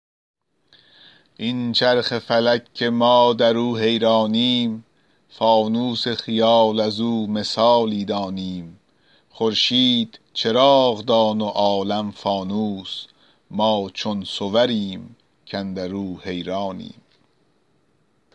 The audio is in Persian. این چرخ فلک که ما در او حیرانیم فانوس خیال از او مثالی دانیم خورشید چراغ دان و عالم فانوس ما چون صوریم کاندر او حیرانیم